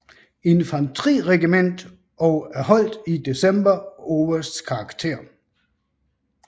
Infanteriregiment og erholdt i december obersts karakter